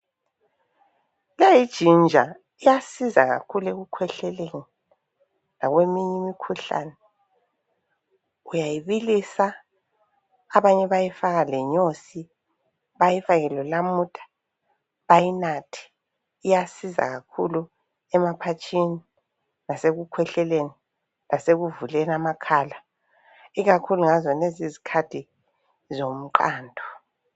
Leyi yijinja iyasiza kakhulu ekukhwehleni lakweminye imikhuhlane, uyayibilisa, abanye bayayifaka lenyosi, bayifake lonamuda bayinathe, iyasiza kakhulu emaphatshini, laseku khwehleni, lasekuvuleni amakhala ikakhulu ngazonezi izikhathi zomqando.